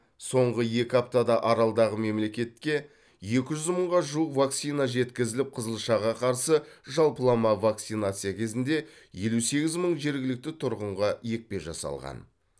соңғы екі аптада аралдағы мемлекетке екі жүз мыңға жуық вакцина жеткізіліп қызылшаға қарсы жалпылама вакцинация кезінде елу сегіз мың жергілікті тұрғынға екпе жасалған